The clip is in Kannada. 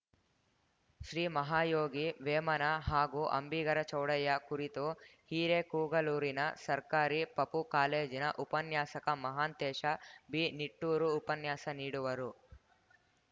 ಶ್ರೀ ಮಹಾಯೋಗಿ ವೇಮನ ಹಾಗೂ ಅಂಬಿಗರ ಚೌಡಯ್ಯ ಕುರಿತು ಹಿರೇಕೋಗಲೂರಿನ ಸರ್ಕಾರಿ ಪಪೂ ಕಾಲೇಜಿನ ಉಪನ್ಯಾಸಕ ಮಹಾಂತೇಶ ಬಿನಿಟ್ಟೂರು ಉಪನ್ಯಾಸ ನೀಡುವರು